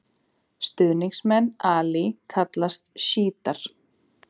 Stuðningsmenn Ali kallast sjítar.